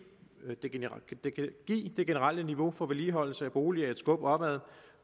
det generelle niveau for vedligeholdelse af boliger et skub opad